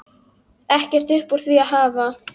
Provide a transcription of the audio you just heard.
Ekkert upp úr því að hafa!